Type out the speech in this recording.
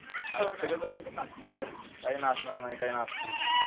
सगळे जण कुठं नाचणार, काही नाचणार नाही काही नाचतील